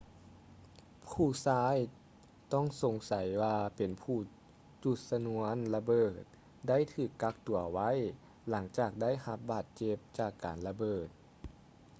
ຜູ້ຊາຍຕ້ອງສົງໃສວ່າເປັນຜູ້ຈູດຊະນວນລະເບີດ ໄດ້ຖືກກັກຕົວໄວ້ ຫຼັງຈາກໄດ້ຮັບບາດເຈັບຈາກການລະເບີດ